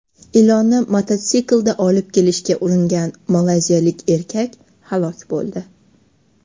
Ilonni mototsiklda olib kelishga uringan malayziyalik erkak halok bo‘ldi.